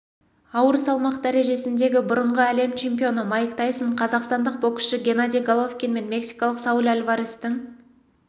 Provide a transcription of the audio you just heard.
ауыр салмақ дәрежесіндегі бұрынғы әлем чемпионы майк тайсон қазақстандық боксшы геннадий головкин мен мексикалық сауль альварестің